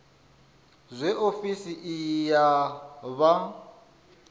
zwe ofisi iyi ya vha